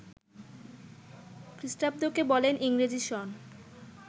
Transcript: খ্রীষ্টাব্দকে বলেন ইংরেজি সন